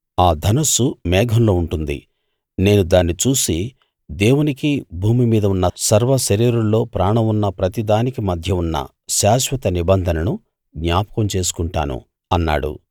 ఆ ధనుస్సు మేఘంలో ఉంటుంది నేను దాన్ని చూసి దేవునికీ భూమి మీద ఉన్న సర్వశరీరుల్లో ప్రాణం ఉన్న ప్రతి దానికీ మధ్య ఉన్న శాశ్వత నిబంధనను జ్ఞాపకం చేసుకొంటాను అన్నాడు